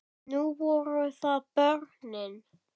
Nú voru það börnin.